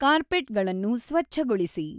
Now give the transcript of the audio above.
ಕಾರ್ಪೆಟ್ಗಳನ್ನು ಸ್ವಚ್ಛಗೊಳಿಸಿ